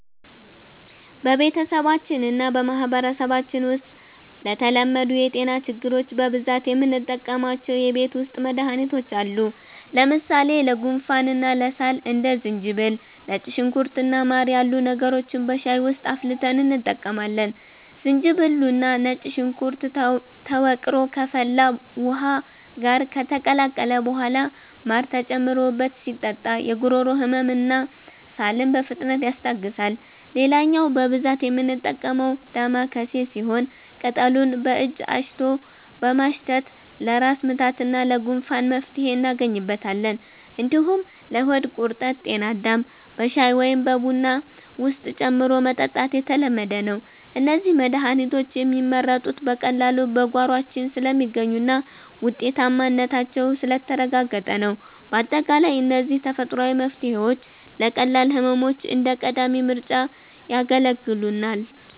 በቤተሰባችንና በማህበረሰባችን ውስጥ ለተለመዱ የጤና ችግሮች በብዛት የምንጠቀማቸው የቤት ውስጥ መድሃኒቶች አሉ። ለምሳሌ ለጉንፋንና ለሳል እንደ ዝንጅብል፣ ነጭ ሽንኩርት እና ማር ያሉ ነገሮችን በሻይ ውስጥ አፍልተን እንጠቀማለን። ዝንጅብሉና ነጭ ሽንኩርቱ ተወቅሮ ከፈላ ውሃ ጋር ከተቀላቀለ በኋላ ማር ተጨምሮበት ሲጠጣ የጉሮሮ ህመምንና ሳልን በፍጥነት ያስታግሳል። ሌላኛው በብዛት የምንጠቀመው 'ዳማከሴ' ሲሆን፣ ቅጠሉን በእጅ አሽቶ በማሽተት ለራስ ምታትና ለጉንፋን መፍትሄ እናገኝበታለን። እንዲሁም ለሆድ ቁርጠት 'ጤናዳም' በሻይ ወይም በቡና ውስጥ ጨምሮ መጠጣት የተለመደ ነው። እነዚህ መድሃኒቶች የሚመረጡት በቀላሉ በጓሯችን ስለሚገኙና ውጤታማነታቸው ስለተረጋገጠ ነው። ባጠቃላይ እነዚህ ተፈጥሯዊ መፍትሄዎች ለቀላል ህመሞች እንደ ቀዳሚ ምርጫ ያገለግሉናል።